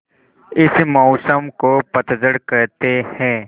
इस मौसम को पतझड़ कहते हैं